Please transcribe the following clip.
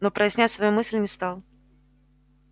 но прояснять свою мысль не стал